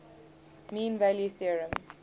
mean value theorem